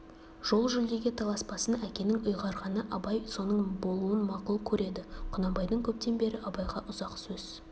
жол жүлдеге таласпасын әкенің ұйғарғаны абай соның болуын мақұл көреді құнанбайдың көптен бері абайға ұзақ сөз